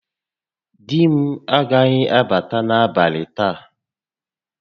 Di m agaghị abata n'abalị taa